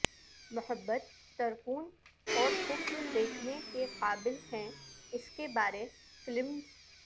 محبت ترکون اور کفر دیکھنے کے قابل ہیں اس کے بارے فلمز